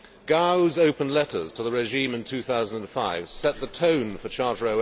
Gao's open letters to the regime in 2005 set the tone for Charter